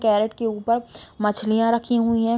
Carat के ऊपर मछलियाँ रही हुई हैं।